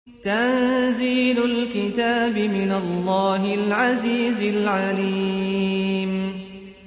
تَنزِيلُ الْكِتَابِ مِنَ اللَّهِ الْعَزِيزِ الْعَلِيمِ